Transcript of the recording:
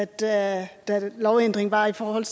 da lovændringen var i forhold